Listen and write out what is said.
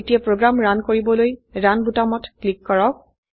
এতিয়া program run কৰিবলৈ run বোতামত ক্লিক কৰক